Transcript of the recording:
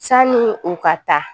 Sani u ka taa